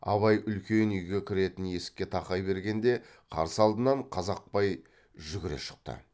абай үлкен үйге кіретін есікке тақай бергенде қарсы алдынан қазақпай жүгіре шықты